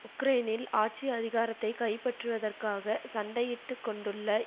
உக்ரைனில் ஆட்சி அதிகாரத்தை கைப்பற்றுவதற்காக சண்டையிட்டு கொண்டுள்ள